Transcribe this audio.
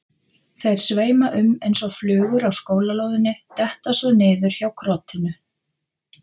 Þeir sveima um eins og flugur á skólalóðinni, detta svo niður hjá krotinu.